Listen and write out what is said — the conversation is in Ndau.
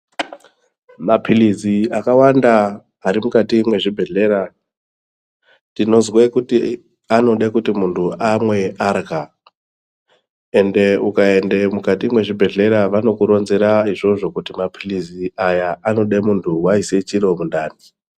Mapilizi akawanda arimukati muzvibhehlera tinozwe kuti anode kuti muntu amwe ahya ende ukaenda mukati muzvibhehleya vanokurodzera kuti mapilizi aya anoda muntu waisa chiro mundani.